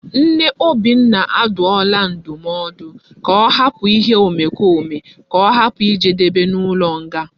Nne obinna aduola ndumodu ka o hapu ihe omekome ka ohapu ijedebe na ulo nga